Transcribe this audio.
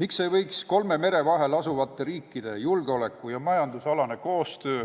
Miks ei võiks kolme mere vahel asuvate riikide julgeoleku- ja majandusalane koostöö